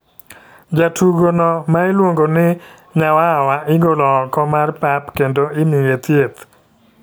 Jatugo no ma iluongo ni Nyawawa igolo ok mar pap kendo imye thieth.